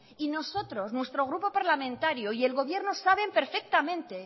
y nosotros nuestro grupo parlamentario y el gobierno saben perfectamente